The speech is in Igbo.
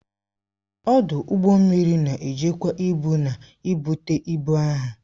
ọdụ ụgbọ mmiri na-ejikwa ibu na ibutu ibu ahụ